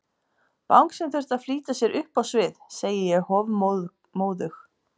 Bangsinn þurfti að flýta sér upp á svið, segi ég hofmóðug.